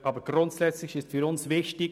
Aber Folgendes ist uns wichtig: